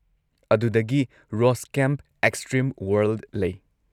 ꯑꯗꯨꯗꯒꯤ rose camp: extreme world ꯂꯩ꯫